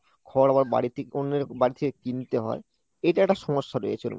ঘর আবার বাড়ি থেকে অন্যের বাড়ি থেকে কিনতে হয়, এটা একটা সমস্যা রয়েছে ওর মধ্যে।